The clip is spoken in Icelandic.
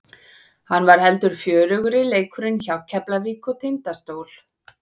Hann var heldur fjörugri leikurinn hjá Keflavík og Tindastól.